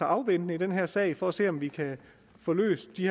afventende i den her sag og se om vi kan få løst de